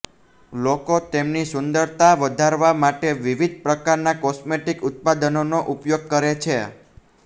લોકો તેમની સુંદરતા વધારવા માટે વિવિધ પ્રકારના કોસ્મેટિક્સ ઉત્પાદનોનો ઉપયોગ કરે છે